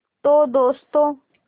तो दोस्तों